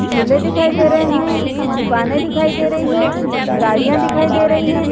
झूले दिखाई दे रहे है दुकाने दिखाई दे रही है गाड़िया दिखाई दे रही हैं।